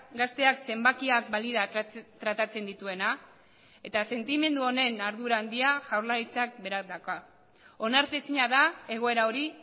gazteak zenbakiak balira tratatzen dituena eta sentimendu honen ardura handia jaurlaritzak berak dauka onartezina da egoera hori